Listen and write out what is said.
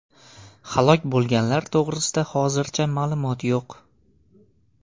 Halok bo‘lganlar to‘g‘risida hozircha ma’lumot yo‘q.